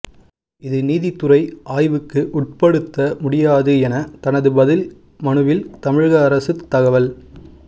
இது நீதித்துறை ஆய்வுக்கு உட்படுத்த முடியாது என தனது பதில் மனுவில் தமிழக அரசு தகவல்